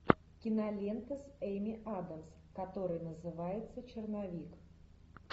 кинолента с эми адамс которая называется черновик